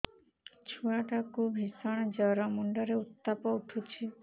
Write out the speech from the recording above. ଛୁଆ ଟା କୁ ଭିଷଣ ଜର ମୁଣ୍ଡ ରେ ଉତ୍ତାପ ଉଠୁଛି